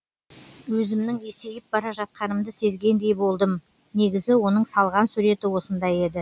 өзімнің есейіп бара жатқанымды сезгендей болдым негізі оның салған суреті осындай еді